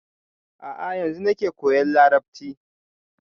A'a yanzu nake koyan larabci